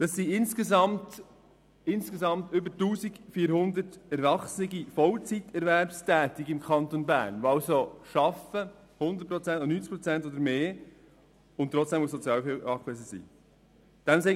Das sind insgesamt über 1400 erwachsene Vollzeiterwerbstätige im Kanton Bern, die mindestens zu 90 Prozent arbeiten und trotzdem auf Sozialhilfe angewiesen sind.